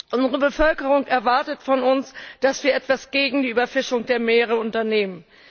Unsere Bevölkerung erwartet von uns, dass wir etwas gegen die Überfischung der Meere unternehmen.